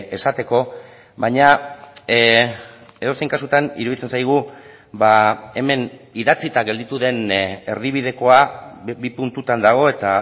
esateko baina edozein kasutan iruditzen zaigu hemen idatzita gelditu den erdibidekoa bi puntutan dago eta